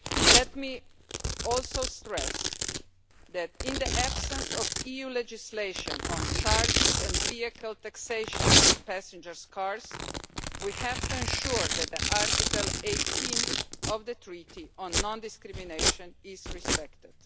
Let me also stress that, in the absence of EU legislation on charging and vehicle taxation for passenger cars, we have to ensure that Article 18 of the Treaty, on non discrimination, is respected.